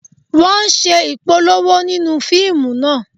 Wọ́n ń ṣe Ìpolówó nínú fíìmù náà